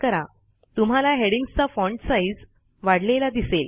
तुम्हाला हेडिंग्जचा font size वाढलेला दिसेल